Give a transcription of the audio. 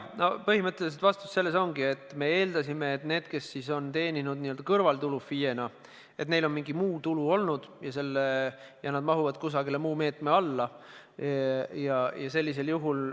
Põhimõtteliselt vastus ongi, et me eeldasime, et neil, kes on FIE-na teeninud kõrvaltulu, on olnud mingi muu tulu ka ja nad mahuvad kusagile muu meetme alla.